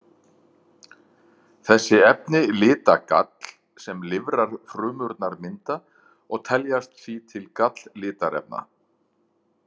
Þessi efni lita gall sem lifrarfrumurnar mynda og teljast því til galllitarefna.